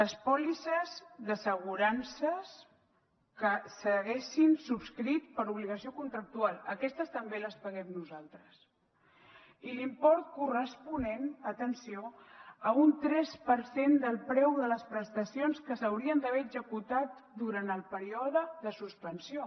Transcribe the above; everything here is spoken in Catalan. les pòlisses d’assegurances que s’haguessin subscrit per obligació contractual aquestes també les paguem nosaltres i l’import corresponent atenció a un tres per cent del preu de les prestacions que s’haurien d’haver executat durant el període de suspensió